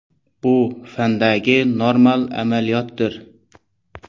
Bu – fandagi normal amaliyotdir.